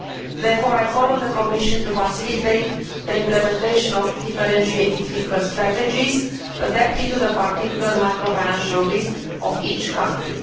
Therefore I call on the Commission to facilitate the implementation of differentiated fiscal strategies, adapted to the particular microfinancial risk of each country.